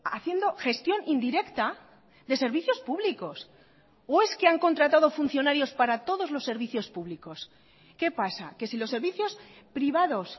haciendo gestión indirecta de servicios públicos o es que han contratado funcionarios para todos los servicios públicos qué pasa que si los servicios privados